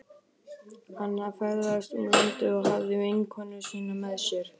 Hann ferðaðist um landið og hafði vinkonu sína með sér.